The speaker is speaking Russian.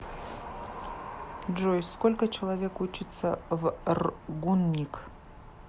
джой сколько человек учится в ргуниг